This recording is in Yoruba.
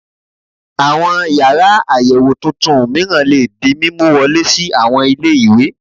Àwọn yàrá àyẹ̀wò tuntun mìíràn lè di mímú wọlé sí àwọn ilé ìwé